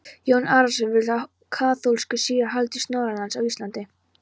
Jón Arason vill að kaþólskur siður haldist norðanlands á Íslandi.